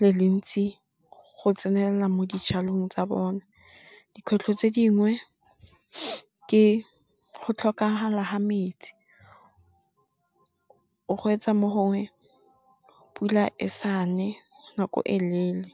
le le ntsi go tsenela mo dijalong tsa bone. Dikgwetlho tse dingwe ke go tlhokagala ga metsi, O gwetsa mo gongwe pula e sa ne nako e leele .